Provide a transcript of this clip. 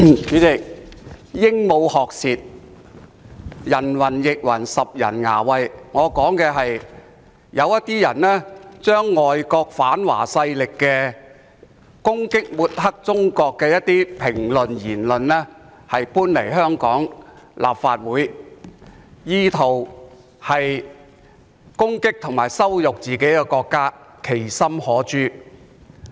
主席，鸚鵡學舌，人云亦云，拾人牙慧，我所指的是有些人把外國反華勢力的攻擊，以及抹黑中國的言論搬來香港立法會，意圖攻擊和羞辱自己的國家，其心可誅。